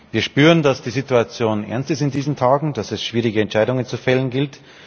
Wir spüren, dass die Situation ernst ist in diesen Tagen, dass es schwierige Entscheidungen zu fällen gilt.